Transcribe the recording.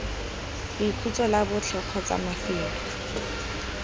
boikhutso la botlhe kgotsa mafelo